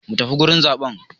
Mu tafi wurin zaɓen!